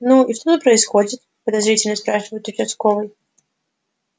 ну и что тут происходит подозрительно спрашивает участковый